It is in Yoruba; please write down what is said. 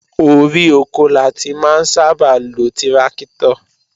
Orí oko la ti máa ń sábà lo tíráktọ̀